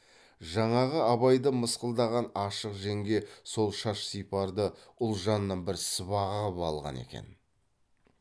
жаңағы абайды мысқылдаған ашық жеңге сол шаш сипарды ұлжаннан бір сыбаға ғып алған екен